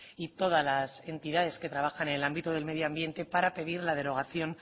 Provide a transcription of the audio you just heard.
y todas las entidades que trabajan en el ámbito del medio ambiente para pedir la derogación